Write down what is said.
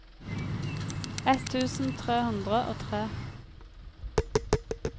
ett tusen tre hundre og tre